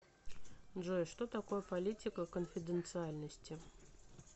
джой что такое политика конфиденциальности